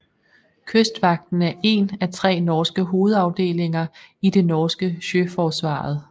Kystvakten er én af tre hovedafdelinger i det norske Sjøforsvaret